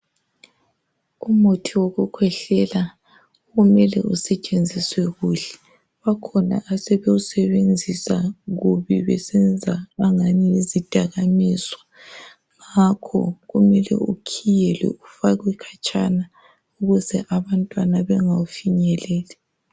Umuthi wokukhwehlela umele usetshenziswe kuhle bakhona asebewusebenzisa kubi besenza angani yizidakwamizwa ngakho kumele ukhiyelwe ufakwe khatshana ukuze abantwana bengawufinyeleli